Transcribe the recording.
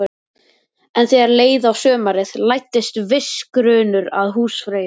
En þegar leið á sumarið læddist viss grunur að húsfreyju.